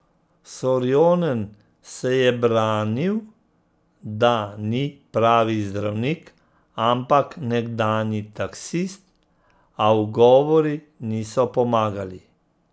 Sorjonen se je branil, da ni pravi zdravnik, ampak nekdanji taksist, a ugovori niso pomagali.